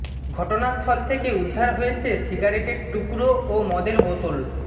ঘটনাস্থল থেকে উদ্ধার হয়েছে সিগারেটের টুকরো ও মদের বোতল